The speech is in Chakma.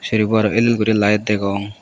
serbo aro el el gori light degong.